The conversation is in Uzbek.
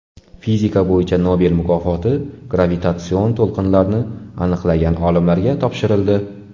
Fizika bo‘yicha Nobel mukofoti gravitatsion to‘lqinlarni aniqlagan olimlarga topshirildi.